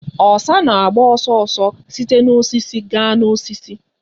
Osa na-agba ọsọ ọsọ site na osisi gaa n'osisi